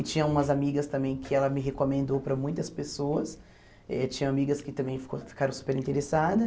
E tinha umas amigas também que ela me recomendou para muitas pessoas, eh tinha amigas que também ficou ficaram super interessadas.